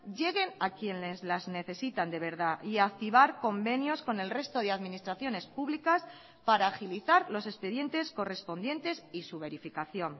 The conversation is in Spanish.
lleguen a quienes las necesitan de verdad y a activar convenios con el resto de administraciones públicas para agilizar los expedientes correspondientes y su verificación